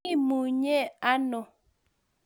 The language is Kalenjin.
Imunyee ano?